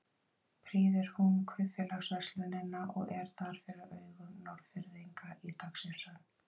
Prýðir hún kaupfélagsverslunina og er þar fyrir augum Norðfirðinga í dagsins önn.